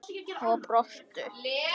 Og brostu.